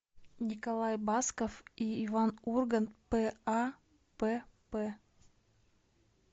николай басков и иван ургант п а п п